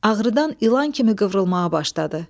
Ağrıdan ilan kimi qıvrılmağa başladı.